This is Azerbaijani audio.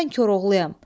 Mən Koroğluyam.